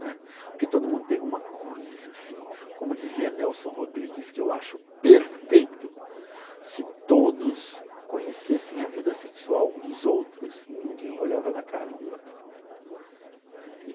né. Porque todo mundo tem uma coisa assim, como dizia Nelson Rodrigues, que eu acho perfeito, se todos conhecessem a vida sexual um dos outros, ninguém olhava na cara um do outro também, né.